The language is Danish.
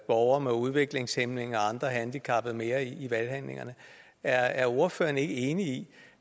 borgere med udviklingshæmning og andre handicappede mere i valghandlingerne er er ordføreren ikke enig i